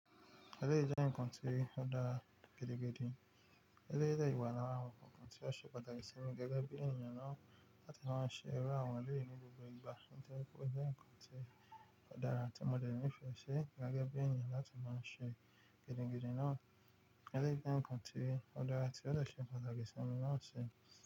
Ẹlẹ́yi jẹ́ ǹkan tí ó dára gedegede ẹlẹ́yi de yi wa lára àwọn ǹkan tí ó ṣe pàtàkì sí mi gẹ́gẹ́ bí ènìyàn náà láti máa ṣe ẹrú àwọn ẹlẹ́ryi ní gbogbo ìgbà, ó jẹ́ ǹkan tí ó dára tí mo le ní ìfẹ́ ṣi gẹ́gẹ́ bí ènìyàn láti máa ṣe gẹ́dẹ́gẹ́dẹ́ náà, ẹlẹ́yi jẹ́ ǹkan tí ó dára tí ó de ṣe pàtàkì sí mi náà ṣe.